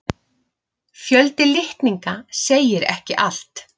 Fjöldi litninga segir ekki allt.